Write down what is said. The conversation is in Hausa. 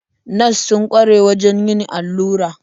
Nas sun kware wajen yin allura.